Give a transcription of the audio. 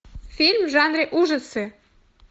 фильм в жанре ужасы